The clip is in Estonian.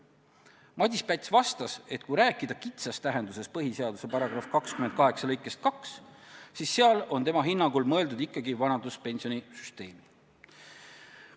Madis Päts vastas, et kui rääkida põhiseaduse § 28 lõikest 2 kitsas tähenduses, siis seal on tema hinnangul mõeldud ikkagi vanaduspensionisüsteemi.